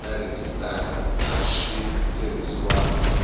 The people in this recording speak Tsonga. na rhejisitara a swi tirhisiwangi